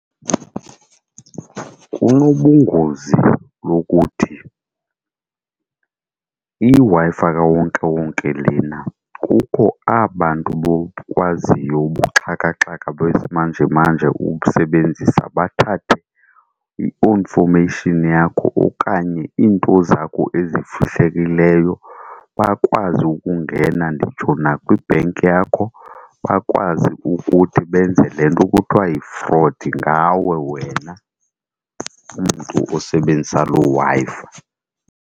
Kunobungozi lokuthi iWi-Fi kawonkewonke lena kukho aba 'bantu bokwaziyo ubuxhakaxhaka besimanjemanje ukusebenzisa bathathe o-information yakho okanye iinto zakho ezifihlakeleyo. Bakwazi ukungena nditsho nakwi-bank yakho, bakwazi ukuthi benze le nto kuthiwa yi-fraud ngawe wena mntu osebenzisa loo Wi-Fi.